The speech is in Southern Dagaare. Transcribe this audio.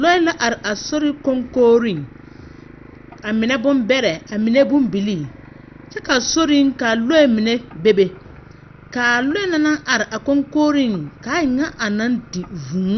Lɔɛ la are sori koŋkogriŋ. A menɛ bombɛrɛ, a menɛ bombilii, kyɛ ka sori ka lɔɛ mini bebe, kaa lɔɛ na naŋ are a koŋkogriŋ ka a e ŋa a naŋ di vũũ,